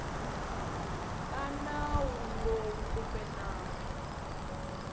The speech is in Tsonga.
ka nawu lowu kumbe nawu